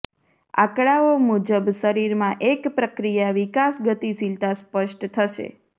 આંકડાઓ મુજબ શરીરમાં એક પ્રક્રિયા વિકાસ ગતિશીલતા સ્પષ્ટ થશે